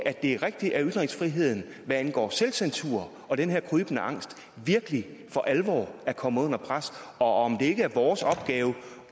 er rigtigt at ytringsfriheden hvad angår selvcensur og den her krybende angst virkelig for alvor er kommet under pres og om det ikke er vores opgave